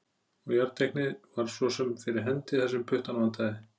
Og jarteiknið var svo sem fyrir hendi þar sem puttann vantaði.